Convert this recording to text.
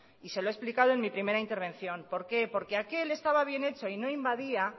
y se lo he explicado en mi primera intervención por qué porque aquel estaba bien hecho y no invadía